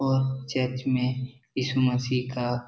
वह चर्च मे ईसु मसीह का --